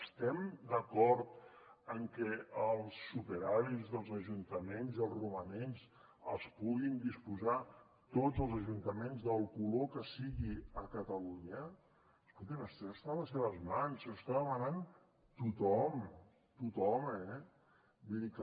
estem d’acord en què els superàvits dels ajuntaments i els romanents els puguin disposar tots els ajuntaments del color que siguin a catalunya escolti’m això està a les seves mans ho està demanant tothom tothom eh vull dir que